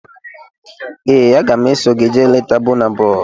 Ee, aga m eso gị jee leta Bọna Bọi